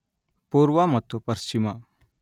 ಪೂರ್ವ ಮತ್ತು ಪಶ್ಚಿಮ